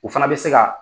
O fana bɛ se ka